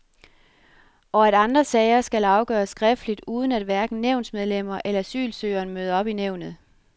Og at andre sager skal afgøres skriftligt uden at hverken nævnsmedlemmer eller asylsøgeren møder op i nævnet.